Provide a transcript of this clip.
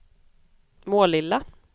Målilla